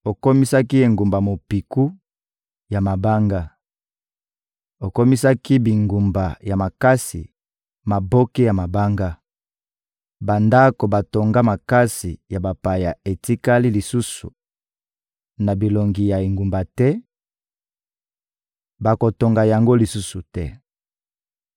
Okomisaki engumba mopiku ya mabanga, okomisaki bingumba ya makasi maboke ya mabanga; bandako batonga makasi ya bapaya etikali lisusu na bilongi ya engumba te, bakotonga yango lisusu te.